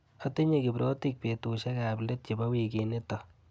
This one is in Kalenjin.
Atinye kiprotik betushek ap let chebo wikinito.